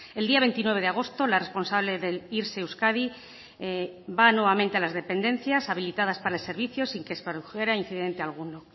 el día veintinueve de agosto la responsable del irse euskadi va nuevamente a las dependencias habilitadas para el servicio sin que se produjera incidente alguno